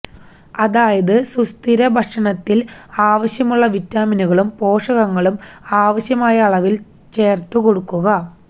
അതായത് സുസ്ഥിര ഭക്ഷണത്തില് ആവശ്യമുള്ള വിറ്റാമിനുകളും പോഷകങ്ങളും ആവശ്യമായ അളവില് ചേര്ത്തുകൊടുക്കുക